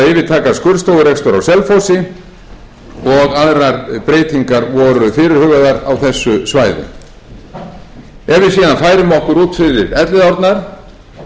yfirtaka skurðstofurekstur á selfossi og aðrar breytingar voru fyrirhugaðar á þessu svæði ef við síðan færum okkur út fyrir elliðaárnar